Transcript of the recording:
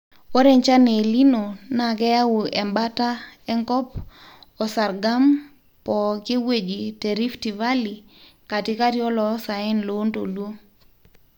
ore enchan e El nino naa keyau embaata enkop o sargam pooki wueji te rift valley, katikati o olosaen -loontoluo